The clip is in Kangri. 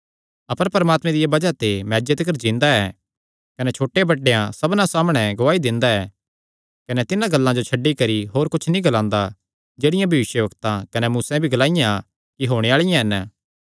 अपर परमात्मे दिया बज़ाह ते मैं अज्जे तिकर जिन्दा ऐ कने छोटे बड्डेयां सबना सामणै गवाही दिंदा ऐ कने तिन्हां गल्लां जो छड्डी करी होर कुच्छ नीं ग्लांदा जेह्ड़ियां भविष्यवक्तां कने मूसे भी ग्लाईयां कि होणे आल़िआं हन